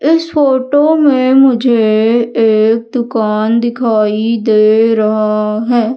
इस फोटो में मुझे एक दुकान दिखाई दे रहा है।